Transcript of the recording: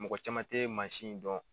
Mɔgɔ caman tɛ mansin in dɔn